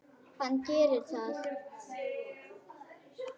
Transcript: Hann gerði það.